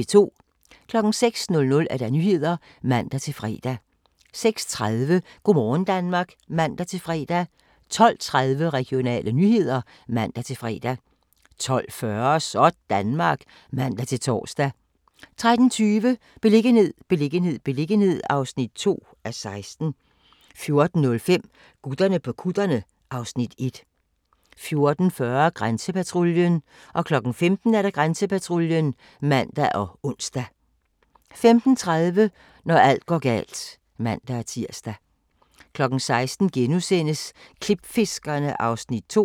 06:00: Nyhederne (man-fre) 06:30: Go' morgen Danmark (man-fre) 12:30: Regionale nyheder (man-fre) 12:40: Sådanmark (man-tor) 13:20: Beliggenhed, beliggenhed, beliggenhed (2:16) 14:05: Gutterne på kutterne (Afs. 1) 14:40: Grænsepatruljen 15:00: Grænsepatruljen (man og ons) 15:30: Når alt går galt (man-tir) 16:00: Klipfiskerne (Afs. 2)*